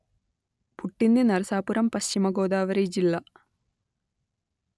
పుట్టింది నరసాపురం పశ్చిమ గోదావరి జిల్లా